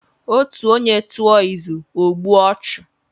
Otú onye tụọ izù, ọ gbuo ọchụ.